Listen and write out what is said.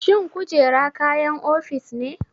Shin kujera kayan ofis ne?